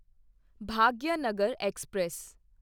Bhagyanagar express